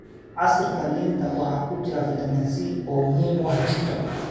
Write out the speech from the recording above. Casiirka liinta waxa ku jira fitamiin C oo muhiim u ah jidhka.